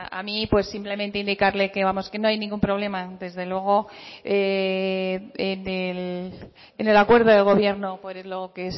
a mí pues simplemente indicarle que vamos que no hay ningún problema desde luego en el acuerdo de gobierno que